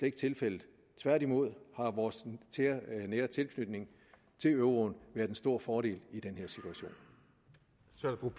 ikke tilfældet tværtimod har vores nære tilknytning til euroen været en stor fordel i den